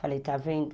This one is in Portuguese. Falei, está vendo?